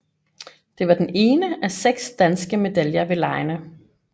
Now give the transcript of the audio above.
Det var den ene af seks danske medaljer ved legene